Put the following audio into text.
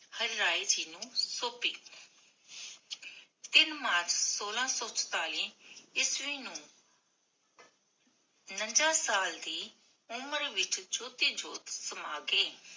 ਹਰ ਰਾਏ ਜੀ ਨੂੰ ਸੋਮ੍ਪੀ ਤਿਨ ਮਾਰਚ ਸੋਲਾਹ ਸੋ ਸਤਾਈ ਈਸਵੀ ਨੂੰ ਉਨੰਜਾ ਸਾਲ ਦੀ ਉਮਰ ਵਿਚ ਜੋਤੀ ਜੋਤ ਸਮਾਂ ਗਏ